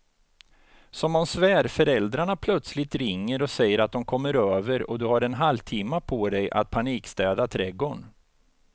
Som om svärföräldrarna plötsligt ringer och säger att de kommer över och du har en halvtimme på dig att panikstäda trädgården.